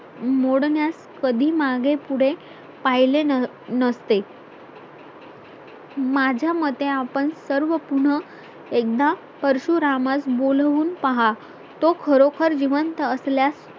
मोडण्यास कधी मागे पुढे पाहिले नसते माझ्या मते आपण सर्व पुन्हा एकदा परशुरामास बोलवून पहा तो खरोखर जिवंत असल्यास